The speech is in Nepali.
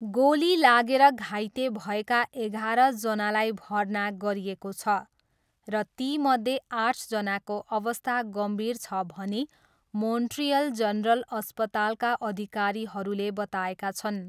गोली लागेर घाइते भएका एघारजनालाई भर्ना गरिएको छ र तीमध्ये आठजनाको अवस्था गम्भीर छ भनी मोन्ट्रियल जनरल अस्पतालका अधिकारीहरूले बताएका छन्।